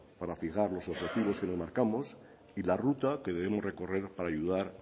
para fijar los objetivos que nos marcamos y la ruta que debemos recorrer para ayudar